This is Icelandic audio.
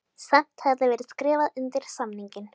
Samt hefði verið skrifað undir samninginn